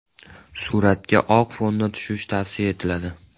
Suratga oq fonda tushish tavsiya etiladi.